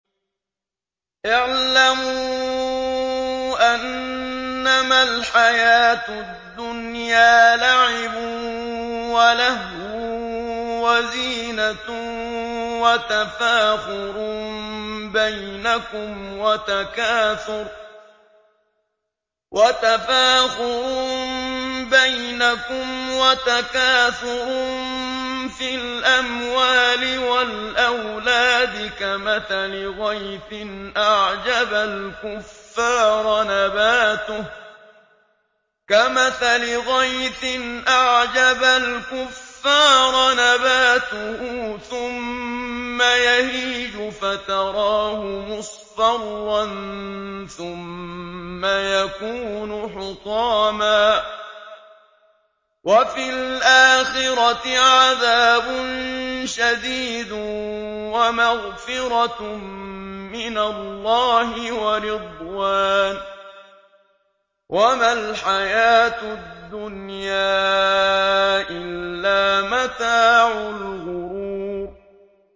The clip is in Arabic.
اعْلَمُوا أَنَّمَا الْحَيَاةُ الدُّنْيَا لَعِبٌ وَلَهْوٌ وَزِينَةٌ وَتَفَاخُرٌ بَيْنَكُمْ وَتَكَاثُرٌ فِي الْأَمْوَالِ وَالْأَوْلَادِ ۖ كَمَثَلِ غَيْثٍ أَعْجَبَ الْكُفَّارَ نَبَاتُهُ ثُمَّ يَهِيجُ فَتَرَاهُ مُصْفَرًّا ثُمَّ يَكُونُ حُطَامًا ۖ وَفِي الْآخِرَةِ عَذَابٌ شَدِيدٌ وَمَغْفِرَةٌ مِّنَ اللَّهِ وَرِضْوَانٌ ۚ وَمَا الْحَيَاةُ الدُّنْيَا إِلَّا مَتَاعُ الْغُرُورِ